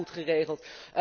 Die waren goed geregeld.